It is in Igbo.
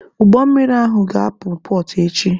Ụgbọ mmiri ahụ ga-ahapụ pọọt echi.